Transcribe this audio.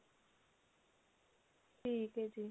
ਠੀਕ ਹੈ ਜੀ